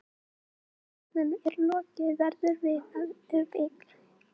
Núna þegar flóttanum er lokið verðum við ef til vill einsog tveir ókunnugir menn.